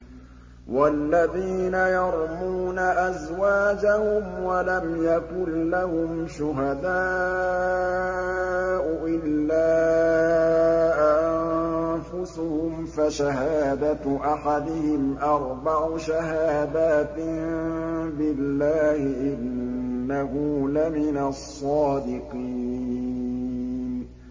وَالَّذِينَ يَرْمُونَ أَزْوَاجَهُمْ وَلَمْ يَكُن لَّهُمْ شُهَدَاءُ إِلَّا أَنفُسُهُمْ فَشَهَادَةُ أَحَدِهِمْ أَرْبَعُ شَهَادَاتٍ بِاللَّهِ ۙ إِنَّهُ لَمِنَ الصَّادِقِينَ